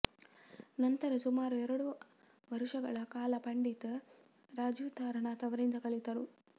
ನಂತರ ಸುಮಾರು ಎರಡು ವರುಷಗಳ ಕಾಲ ಪಂಡಿತ್ ರಾಜೀವ್ ತಾರಾನಾಥ್ ಅವರಿಂದ ಕಲಿತರು